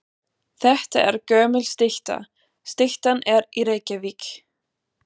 Þetta er gömul stytta. Styttan er í Reykjavík.